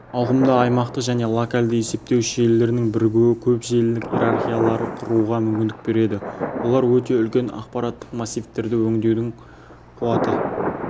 ауқымды аймақтық және локалды есептеуіш желілердің бірігуі көп желілік иерархияларды құруға мүмкіндік береді олар өте үлкен ақпараттық массивтерді өңдеудің қуаты